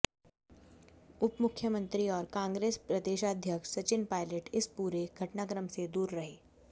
उपमुख्यमंत्री और कांग्रेस प्रदेशाध्यक्ष सचिन पायलट इस पूरे घटनाक्रम से दूर रहे